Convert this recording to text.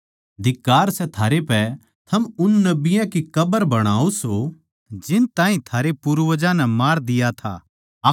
धिक्कार सै थारै पै थम उन नबियाँ की कब्र बणाओ सो जिन ताहीं थारै पूर्वजां नै मार दिया था